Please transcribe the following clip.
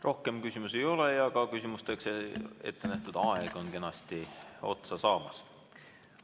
Rohkem küsimusi ei ole ja ka küsimusteks ettenähtud aeg on kenasti otsa saamas.